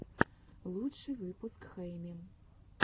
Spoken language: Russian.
лучший выпуск хэйми